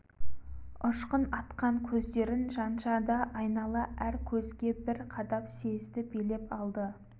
ұшқын атқан көздерін жанша да айнала әр көзге бір қадап съезді билеп алды